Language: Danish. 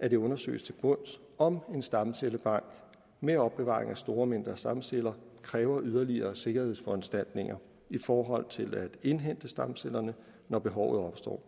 at det undersøges til bunds om en stamcellebank med opbevaring af store mængder stamceller kræver yderligere sikkerhedsforanstaltninger i forhold til at indhente stamcellerne når behovet opstår